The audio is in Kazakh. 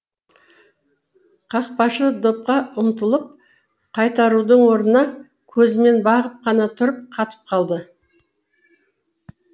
қақпашы допқа ұмтылып қайтарудың орнына көзімен бағып қана тұрып қатып қалды